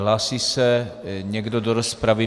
Hlásí se někdo do rozpravy?